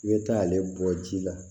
I bɛ taa ale bɔ ji la